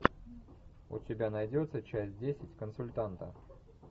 у тебя найдется часть десять консультанта